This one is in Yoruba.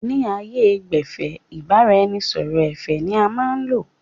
Ni ààyè gbẹ́fẹ̀, ìbáraẹnisọọ̀rọ̀ ẹ̀fẹ̀ ni a máa n lò